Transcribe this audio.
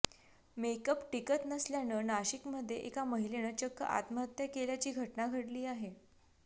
makeup टिकत नसल्यानं नाशिकमध्ये एका महिलेनं चक्क आत्महत्या केल्याची घटना घडली आहे